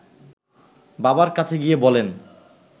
বাবার কাছে গিয়ে বলেন